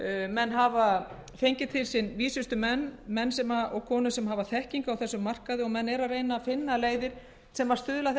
menn hafa fengið til sín vísustu menn og konur sem hafa þekkingu á þessum markaði og eru að reyna að finna leiðir sem stuðla að báðum